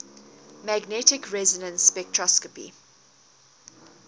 magnetic resonance spectroscopy